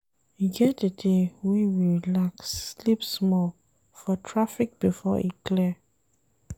E get di day wey we relax sleep small for traffic before e clear.